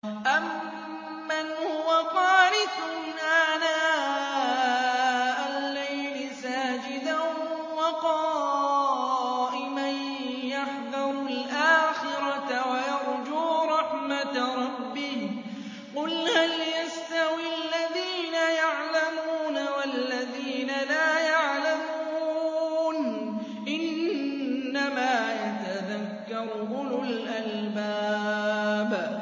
أَمَّنْ هُوَ قَانِتٌ آنَاءَ اللَّيْلِ سَاجِدًا وَقَائِمًا يَحْذَرُ الْآخِرَةَ وَيَرْجُو رَحْمَةَ رَبِّهِ ۗ قُلْ هَلْ يَسْتَوِي الَّذِينَ يَعْلَمُونَ وَالَّذِينَ لَا يَعْلَمُونَ ۗ إِنَّمَا يَتَذَكَّرُ أُولُو الْأَلْبَابِ